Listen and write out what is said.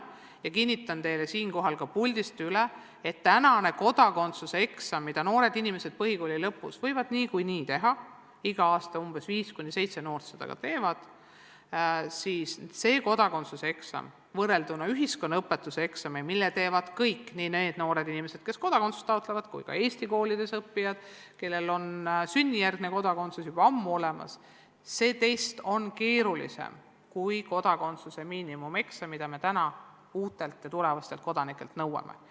Ja kinnitan teile siinkohal ka üle, et mis puutub kodakondsuseksamisse, mida noored inimesed põhikooli lõpus võivad niikuinii teha – igal aastal 5–7 noort seda ka teeb –, siis see eksam võrrelduna ühiskonnaõpetuse eksamiga, mille teevad kõik – nii need noored inimesed, kes kodakondsust taotlevad, kui ka muud Eesti koolides õppijad, kellel on sünnijärgne kodakondsus juba ammu olemas –, siis see tekst on keerulisem kui kodakondsuse miinimumeksam, mida me praegu uutelt kodanikelt nõuame.